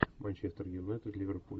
манчестер юнайтед ливерпуль